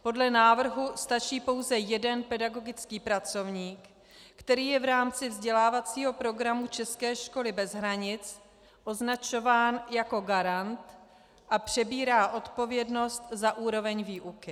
Podle návrhu stačí pouze jeden pedagogický pracovník, který je v rámci vzdělávacího programu české školy bez hranic označován jako garant a přebírá odpovědnost za úroveň výuky.